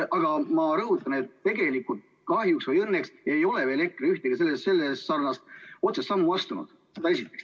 Aga ma rõhutan, et tegelikult kahjuks või õnneks ei ole EKRE veel ühtegi sellesarnast otsest sammu astunud.